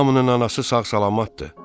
Hamının anası sağ-salamətdir.